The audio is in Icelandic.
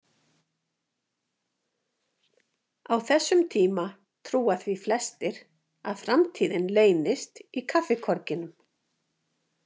Á þessum tíma trúa því flestir að framtíðin leynist í kaffikorginum.